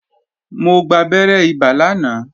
Mo gbabẹ́rẹ́ ibà lánàá